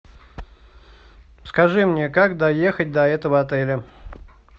скажи мне как доехать до этого отеля